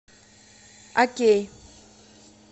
окей